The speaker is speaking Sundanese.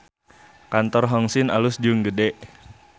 Kantor Hong Sin alus jeung gede